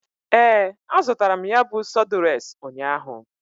Ee, azụtara m ya bụ sọdụres ụnyaahụ.